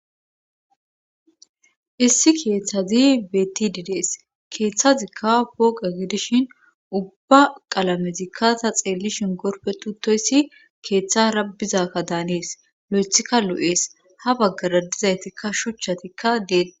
Issi keeththazi betididees keeththazikka pooqa gidishin ubba qalamezikkata xeellishin gorpetutoyssi keeththa rabizakka daanees lu7ethikka lu7ees ha baggara dizaytikka shuchchatikka deei